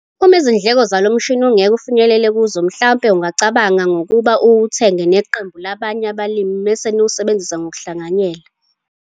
Uma izindleko zalo mshini ungeke ufinyelele kuzo mhlampe ungacabanga ngokuba uwuthenge neqembu labanye abalimi bese niwusebenzisa ngokuhlanganyela.